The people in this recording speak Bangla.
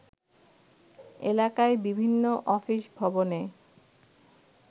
এলাকায় বিভিন্ন অফিস-ভবনে